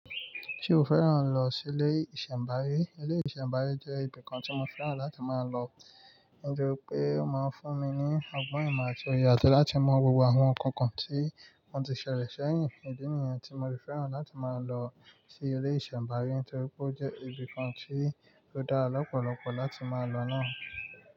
Ṣé o fẹ́ràn lọ sí ilé ìṣẹ̀mbáyé? Ilé ìṣẹ̀mbáyé jẹ́ ibi kan tí mo fẹ́ràn láti máa lọ, nítorí pé ó máa ń fún mi ní ọgbọ́n ìmọ̀ àti òye àti láti mọ̀ gbogbo àwọn nǹkan kan tí wọ́n ti ṣẹ̀lẹ̀ ṣẹ́yìn ìdí nìyẹn tí mo fi fẹ́ràn láti máa lọ ilé ìṣẹ̀mbáyé nítorí pé ó jẹ́ ibi kan tí ó dára lọ́pọ̀lọpọ̀ láti máa lọ náà.